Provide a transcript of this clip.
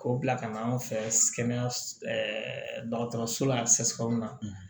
K'o bila ka na an fɛ kɛnɛya dɔgɔtɔrɔso la sɛsiw na